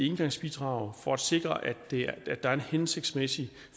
engangsbidrag for at sikre at der er en hensigtsmæssig